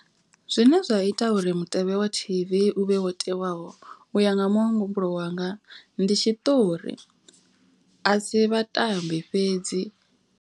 Zwine zwa ita uri mutevhe wa T_V u vhe wo tewaho. U ya nga muhumbulo wanga ndi tshiṱori a si vhatambi fhedzi.